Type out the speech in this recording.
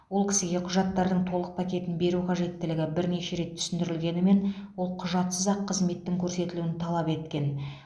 ол кісіге құжаттардың толық пакетін беру қажеттілігі бірнеше рет түсіндірілгенімен ол құжатсыз ақ қызметтің көрсетілуін талап еткен